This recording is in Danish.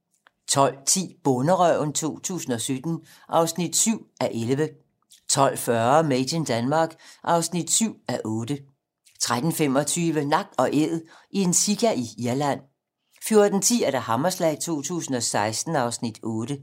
12:10: Bonderøven 2017 (7:11) 12:40: Made in Denmark (7:8) 13:25: Nak & æd - en sika i Irland 14:10: Hammerslag 2016 (Afs. 8)